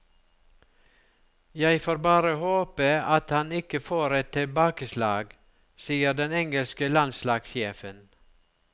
Jeg får bare håpe at han ikke får et tilbakeslag, sier den engelske landslagssjefen.